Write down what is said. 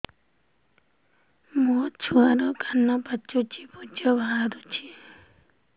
ମୋ ଛୁଆର କାନ ପାଚି ପୁଜ ବାହାରୁଛି